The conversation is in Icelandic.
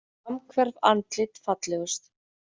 Samhverf andlit fallegust